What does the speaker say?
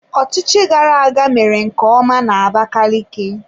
Ọchịchị gara-aga mere nke ọma na Abakaliki.